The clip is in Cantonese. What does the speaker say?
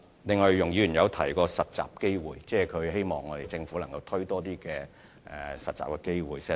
此外，容議員也有提過實習機會，她希望政府推出更多的實習機會。